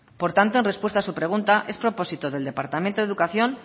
por tanto en respuesta a su pregunta es propósito del departamento de educación